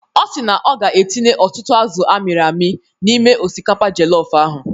Ọ si na ọ ga-etinye ọtụtụ azụ amịrị amị n'ime osikapa jọlọf ahụ.